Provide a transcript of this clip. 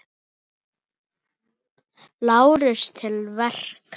LÁRUS: Til verka!